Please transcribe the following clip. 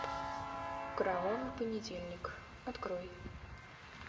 кровавый понедельник открой